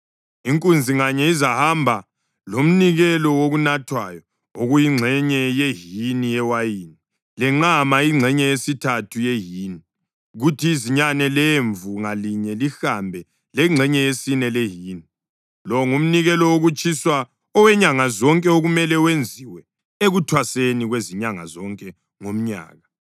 Inkunzi nganye izahamba lomnikelo wokunathwayo okuyingxenye yehini yewayini; lenqama, ingxenye yesithathu yehini; kuthi izinyane lemvu ngalinye lihambe lengxenye yesine yehini. Lo ngumnikelo wokutshiswa owenyanga zonke okumele wenziwe ekuthwaseni kwezinyanga zonke ngomnyaka.